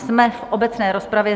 Jsme v obecné rozpravě.